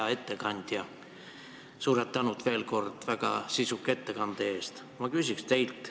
Hea ettekandja, suur tänu veel kord väga sisuka ettekande eest!